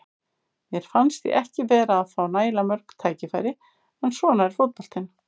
Mér fannst ég ekki vera að fá nægilega mörg tækifæri, en svona er fótboltinn.